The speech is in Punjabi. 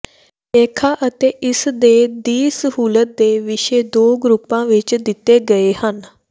ਲੇਖਾ ਅਤੇ ਇਸ ਦੇ ਦੀ ਸਹੂਲਤ ਦੇ ਵਿਸ਼ੇ ਦੋ ਗਰੁੱਪ ਵਿਚ ਦਿੱਤੇ ਗਏ ਹਨ